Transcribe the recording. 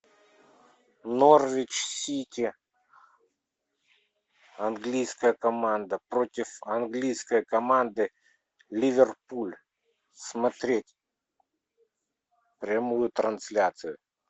норвич сити английская команда против английской команды ливерпуль смотреть прямую трансляцию